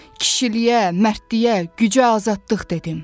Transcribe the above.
Kişiliyə, mərdliyə, gücə azadlıq dedim.